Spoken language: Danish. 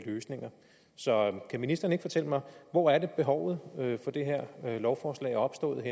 løsninger så kan ministeren ikke fortælle mig hvor er behovet for det her lovforslag opstået